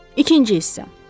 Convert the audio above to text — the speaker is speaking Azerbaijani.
İkinci hissə.